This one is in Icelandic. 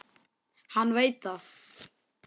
Hann veit það.